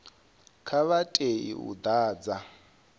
a vha tei u ḓadza